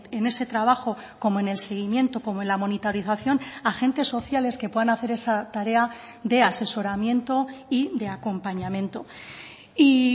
en ese trabajo como en el seguimiento como en la monitorización agentes sociales que puedan hacer esa tarea de asesoramiento y de acompañamiento y